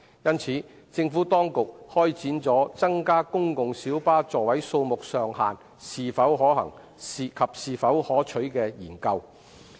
因此，政府當局開展了增加公共小巴座位數目上限是否可行及是否可取的研究。